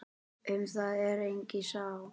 Um það er engin sátt.